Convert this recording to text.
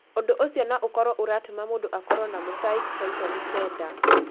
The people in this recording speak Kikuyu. Ũndũ ũcio no ũkorũo ũratũma mũndũ akorũo na mosaic trisomy 9.